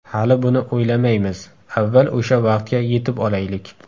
Hali buni o‘ylamaymiz, avval o‘sha vaqtga yetib olaylik.